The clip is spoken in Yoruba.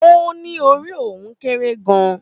Ó ní orí òun kéré gan-an